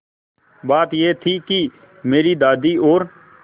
बात यह थी कि मेरी दादी और